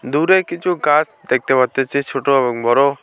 দূরে কিছু গাছ দেখতে পারতেছি ছোট এবং বড়।